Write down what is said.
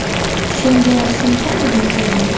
Shunga shunchami, deysizmi?